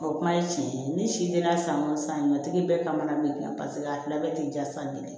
O kuma ye tiɲɛ ye ni si denna san o san katigi bɛɛ kamana ganna paseke a fila bɛɛ tɛ ja san kelen